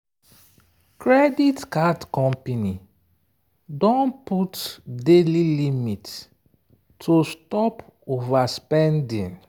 credit card company don put daily limit to stop overspending.